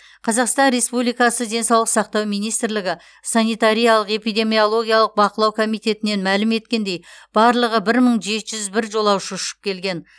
қазақстан республикасы денсаулық сақтау министрлігі санитариялық эпидемиологиялық бақылау комитетінен мәлім еткендей барлығы бір мың жеті жүз бір жолаушы ұшып келген